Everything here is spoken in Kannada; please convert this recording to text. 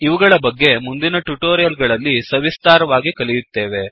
ಇವುಗಳ ಬಗ್ಗೆ ಮುಂದಿನ ಟ್ಯುಟೋರಿಯಲ್ ಗಳಲ್ಲಿ ಸವಿಸ್ತಾರವಾಗಿ ಕಲಿಯುತ್ತೇವೆ